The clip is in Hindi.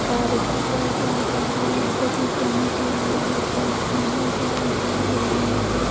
कार रूकी हुई है हरिद्वार जा रहे है यहाँ वेटिंग पाइंट नज़र आ रहा है ऊपर आसमान नज़र आ रहा है बिल्डिंग नज़र आ --